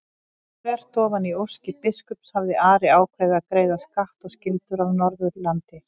Þvert ofan í óskir biskups hafði Ari ákveðið að greiða skatt og skyldur af Norðurlandi.